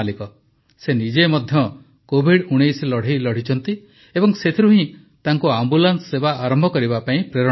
ସେ ନିଜେ ମଧ୍ୟ କୋଭିଡ଼୧୯ ଲଢ଼େଇ ଲଢ଼ିଛନ୍ତି ଏବଂ ସେଥିରୁ ହିଁ ତାଙ୍କୁ ଆମ୍ବୁଲାନ୍ସ ସେବା ଆରମ୍ଭ କରିବା ପାଇଁ ପ୍ରେରଣା ମିଳିଛି